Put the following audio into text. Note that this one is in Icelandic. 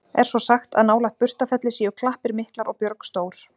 Er svo sagt, að nálægt Burstarfelli séu klappir miklar og björg stór.